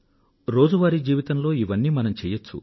రోజువారీ జీవితంలో ఇవన్నీ మనం చేయచ్చు